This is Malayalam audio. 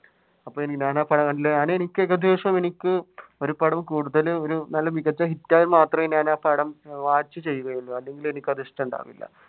അപ്പൊ എന്താണ് പടമല്ലേ അതെനിക്ക് ഏകദേശം എനിക്ക് ഒരുപടം കൂടുതൽ ഒരു നല്ല മികച്ച hit ആയാൽ മാത്രമേ ഞാൻ ആ പടം watch ചെയ്യുകയുള്ളൂ അല്ലെങ്കിൽ അതെനിക്കിഷ്ടം ഉണ്ടാകില്ല.